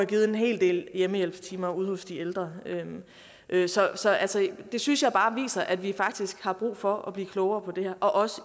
givet en hel del hjemmehjælpstimer ude hos de ældre så det synes jeg bare viser at vi faktisk har brug for at blive klogere på det her og også